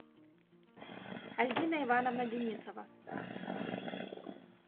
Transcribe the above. альбина ивановна денисова